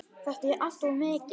Þetta er allt of mikið!